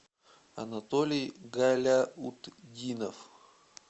анатолий галяутдинов